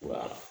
Wa